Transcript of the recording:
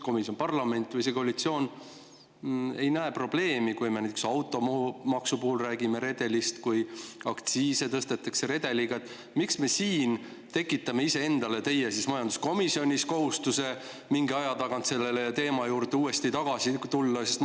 Kui parlament või koalitsioon ei näe probleemi, kui me näiteks automaksu puhul räägime redelist, kui aktsiise tõstetakse redeliga, siis miks me siin tekitame – teie majanduskomisjonis – ise endale kohustuse mingi aja tagant selle teema juurde uuesti tagasi tulla?